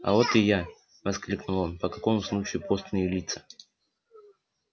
а вот и я воскликнул он по какому случаю постные лица